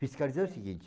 Fiscalizar é o seguinte.